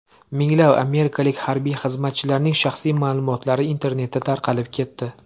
Minglab amerikalik harbiy xizmatchilarning shaxsiy ma’lumotlari internetda tarqalib ketdi.